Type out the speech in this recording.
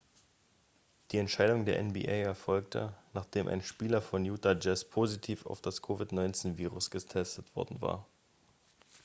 die entscheidung der nba erfolgte nachdem ein spieler von utah jazz positiv auf das covid-19-virus getestet worden war